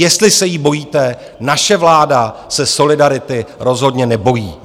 Jestli se jí bojíte, naše vláda se solidarity rozhodně nebojí.